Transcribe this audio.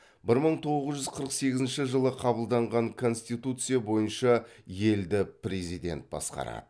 бір мың тоғыз жүз қырық сегізінші жылы қабылданған конституция бойынша елді президент басқарады